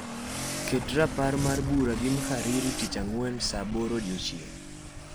ket rapar mar bura gi mhariri tich angwen saa aboro odiechieng